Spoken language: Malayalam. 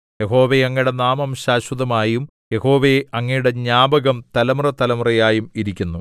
യഹോവേ അങ്ങയുടെ നാമം ശാശ്വതമായും യഹോവേ അങ്ങയുടെ ജ്ഞാപകം തലമുറതലമുറയായും ഇരിക്കുന്നു